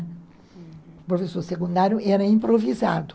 O professor secundário era improvisado.